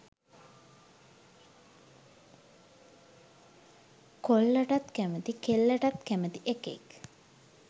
කොල්ලටත් කැමති කෙල්ලටත් කැමති එකෙක්